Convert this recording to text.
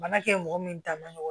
Bana kɛ mɔgɔ min ta man nɔgɔ